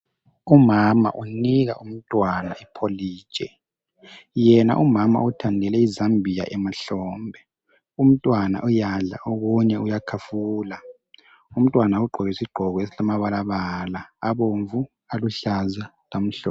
Umama unika umntwana ipholiji. Yena umama uthandele izambia emahlombe . Umntwana uyadla okunye uyakhafula. Umntwana ugqoke isigqoko esilamabalabala abomvu, aluhlaza, lamhlophe.